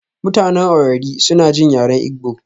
mutanen Owerri suna jin yaren Igbo